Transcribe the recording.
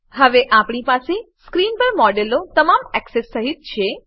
હવે આપણી પાસે સ્ક્રીન પર મોડેલ તમામ એક્સેસ સહીત છે